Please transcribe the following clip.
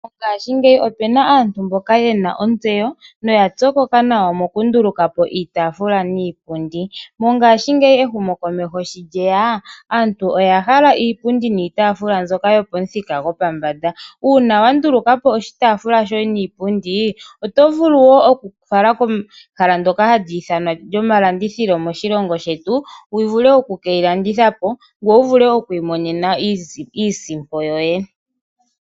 Mongashingeyi opena aantu yena ontseyo noya pyokoka mokunduluka po iitafula niipundi. Mongashingeyi ehumokomeho shi lyeya, aantu oya hala iipundi niitaafula mbyoka yopomuthika yopombanda. Uuna wa nduluka po iitafula niipundi oto vulu wo okufala kehala ndoka lyomalandithilo moshilongo shetu, wu vule okukeyi landitha po, ngoye wu vule okukeyi landitha po noto vulu okukeyi landitha po.